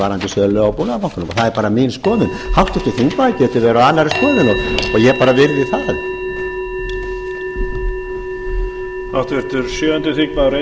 varðandi sölu á búnaðarbankanum og það er bara mín skoðun háttvirtur þingmaður getur verið á annarri skoðun og ég bara virði það